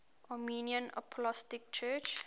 armenian apostolic church